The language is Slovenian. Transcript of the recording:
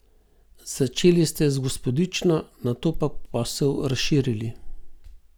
Začeli ste z Gospodično, nato pa posel razširili.